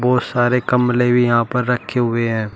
बहोत सारे गमले भी यहां पर रखे हुए हैं।